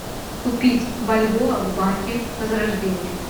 купить бальбоа в банке возрождение